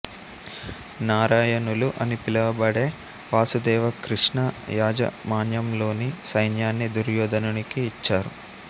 నారాయణులు అని పిలువబడే వాసుదేవ కృష్ణ యాజమాన్యంలోని సైన్యాన్ని దుర్యోధనునికి ఇచ్చారు